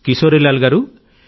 కిశోరీలాల్ గారూ